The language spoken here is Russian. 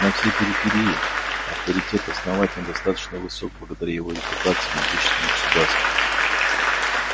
на всей периферии авторитет основания достаточно высок благодаря его репутации могущественного государства